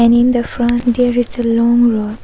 And in the front there is a long road.